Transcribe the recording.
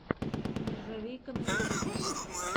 нержавейка на ютубе